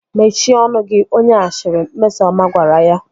Mechie ọnụ gị onye ashịrị! Mmesọma gwara ha